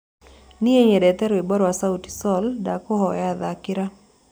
nie nyendete rwĩmbo rwa sauti sol ndakũhoya thakĩra